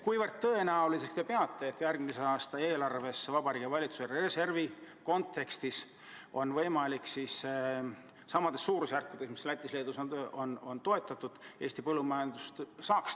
Kui tõenäoliseks te peate, et järgmise aasta eelarvest on Vabariigi Valitsuse reservi arvel võimalik Eesti põllumajandust toetada samas suurusjärgus, kui Lätis ja Leedus on toetatud?